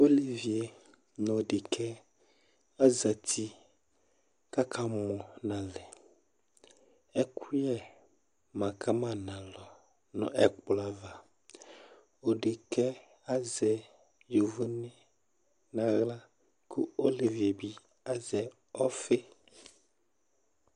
Olevie nʋ dekǝɛ azati kaka mɔ nalɛƐkʋyɛ ma ka ma nalɔ nʋ ɛkplɔ avaOdekǝɛ azɛ ivi naɣla ,kʋ olevie bɩ azɛ ɔfɩ